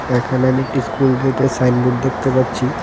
এখানে আমি একটি স্কুল গেটের সাইন বোর্ড দেখতে পাচ্ছি .